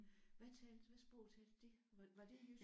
Hvad talte hvad sprog talte de? Var det jysk?